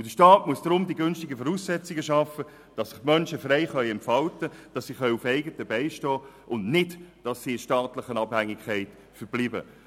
Deshalb muss der Staat die günstigen Voraussetzungen schaffen, dass sich die Menschen frei entfalten und auf eigenen Beinen stehen können und nicht in staatlicher Abhängigkeit verbleiben.